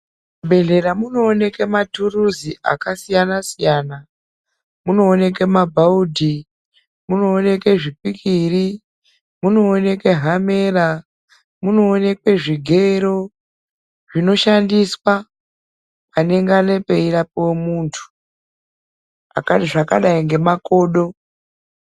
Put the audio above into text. Muzvibhehlera munooneke maturizi akasiyana siyana. Munooneke mabhaudhi, munooneke zvipikiri, munooneke hamera, munooneke zvigero. Zvinoshandiswa panenge peirapwe muntu zvakadai ngemakodoi.